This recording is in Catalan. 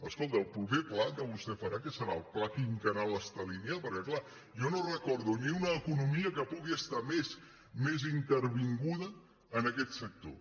escolti el proper pla que vostè farà què serà el pla quinquennal estalinista perquè clar jo no recordo ni una economia que pugui estar més intervinguda en aquest sector